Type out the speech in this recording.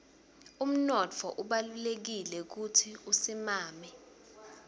umnotfo ubalulekile kutsi usimame